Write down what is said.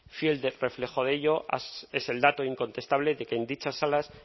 fiel reflejo de ello es el dato incontestable de que en dichas aulas